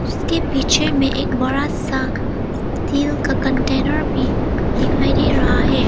उसके पीछे में एक बड़ा सा तेल का कंटेनर भी दिखाई दे रहा है।